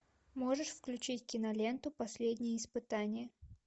можешь включить киноленту последнее испытание